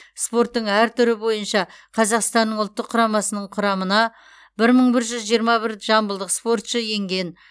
спорттың әр түрі бойынша қазақстанның ұлттық құрамасының құрамына бір мың бір жүз жиырма бір жамбылдық спортшы енген